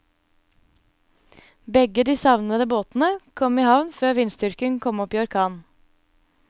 Begge de savnede båtene kom i havn før vindstyrken kom opp i orkan.